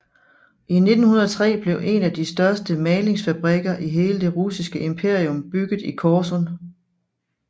I 1903 blev en af de største malingsfabrikker i hele det russiske imperium bygget i Korsun